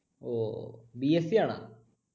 ഓ BSC ആണാ?